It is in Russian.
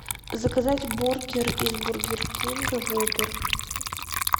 заказать бургер из бургер кинга воппер